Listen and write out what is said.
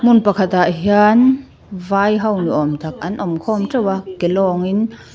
hmun pakhatah hian vai ho ni awm tak an awm khawm teuh a ke lawngin--